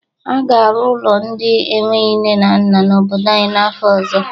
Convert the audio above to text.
A ga-arụ ụlọ ndị enweghi nne na nna n'obodo anyị n'afọ ọzọ.